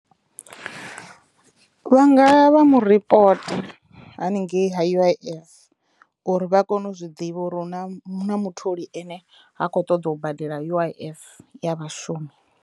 Vha nga ya vha mu ripota haningei ha U_I_F uri vha kono u zwiḓivha uri hu na hu na mutholi ene ha khou ṱoḓa u badela U_I_F ya vhashumi.